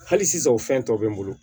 Hali sisan o fɛn tɔw bɛ n bolo